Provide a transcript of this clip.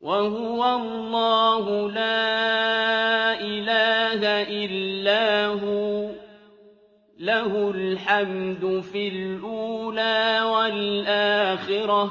وَهُوَ اللَّهُ لَا إِلَٰهَ إِلَّا هُوَ ۖ لَهُ الْحَمْدُ فِي الْأُولَىٰ وَالْآخِرَةِ ۖ